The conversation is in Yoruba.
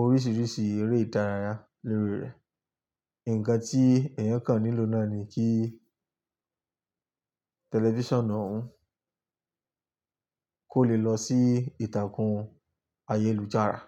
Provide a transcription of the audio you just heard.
oríṣìíríṣìí eré ìdárayá lórí rẹ̀. Ǹǹkan tí èèyàn kàn nílò náà ni kí tẹlifíṣàn náà kò lè lọ sí ìtàkùn ayélujára.